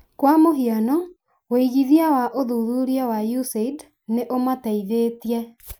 kwa mũhiano, wĩigithia wa ũthuthuria wa USAID nĩ ũmateithĩtie